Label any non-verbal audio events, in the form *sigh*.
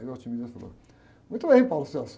Aí o *unintelligible* falou, muito bem. *unintelligible*